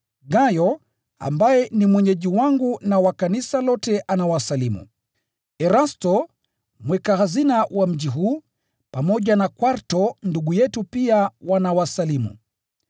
Gayo, ambaye ni mwenyeji wangu na wa kanisa lote, anawasalimu. Erasto, mweka hazina wa mji huu, pamoja na Kwarto ndugu yetu pia wanawasalimu. [